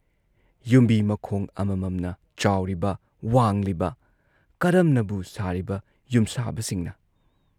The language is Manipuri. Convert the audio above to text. ꯌꯨꯝꯕꯤꯃꯈꯣꯡ ꯑꯃꯃꯝꯅ ꯆꯥꯎꯔꯤꯕ ꯋꯥꯡꯂꯤꯕ ꯀꯔꯝꯅꯕꯨ ꯁꯥꯔꯤꯕ ꯌꯨꯝꯁꯥꯕꯁꯤꯡꯅ ꯫